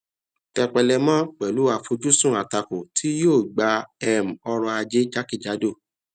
tepélemọ pẹlú àfojúsùn àtakò tí yóò gbà um ọrọ ajé jákèjádò